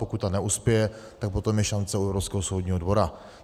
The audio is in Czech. Pokud to neuspěje, tak potom je šance u Evropského soudního dvora.